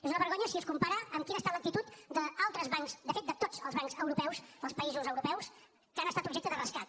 és una vergonya si es compara amb quina ha estat l’actitud d’altres bancs de fet de tots els bancs europeus dels països europeus que han estat objecte de rescat